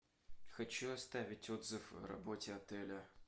хочу оставить отзыв о работе отеля